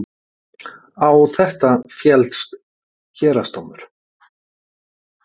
Á þetta féllst héraðsdómur